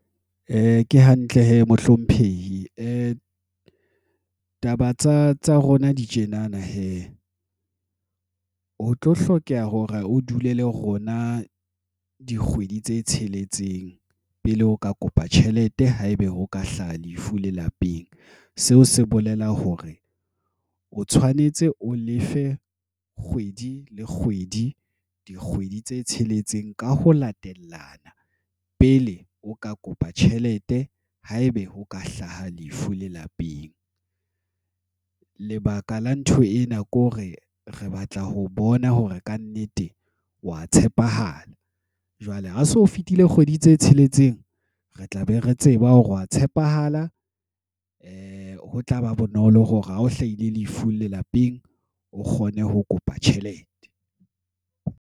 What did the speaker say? Ke hantle Mohlomphehi ke taba tsa rona di tjenana hee ho tlo hlokeha hore o dule le rona dikgwedi tse tsheletseng pele o ka kopa tjhelete haebe ho ka hlaha lefu lelapeng seo se bolela hore o tshwanetse o lefe kgwedi le kgwedi dikgwedi tse tsheletseng ka ho latellana pele o ka kopa tjhelete haebe ho ka hlaha lefu lelapeng. Lebaka la ntho ena ke hore re batla ho bona hore kannete wa tshepahala jwale ho so fetile kgwedi tse tsheletseng. Re tlabe re tseba hore wa tshepahala. Ho tlaba bonolo hore ha o hlahile lefu lelapeng o kgone ho kopa tjhelete.